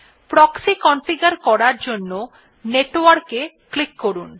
proxy configure করার জন্য network এ ক্লিক করুন